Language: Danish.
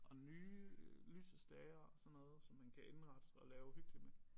Og nye øh lysestager og sådan noget som man kan indrette og lave hyggeligt med